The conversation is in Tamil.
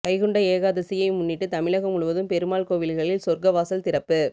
வைகுண்ட ஏகாதசியை முன்னிட்டு தமிழகம் முழுவதும் பெருமாள் கோவில்களில் சொர்க்க வாசல் திறப்பு